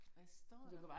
Hvad står der